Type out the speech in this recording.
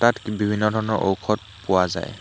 বিভিন্ন ধৰণৰ ঔষধ পোৱা যায়।